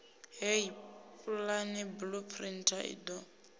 heyi pulane blueprint i do